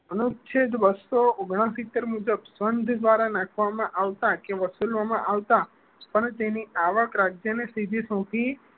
અનુચ્છેદ બસો ઓન્ગ્લ્સીત્તેર મુજબ સંઘ દ્વારા નાખવામાં આવતા કે વસૂલવામાં આવતા પણ તેની આવક રાજ્ય ને સિદ્ધિ સોપી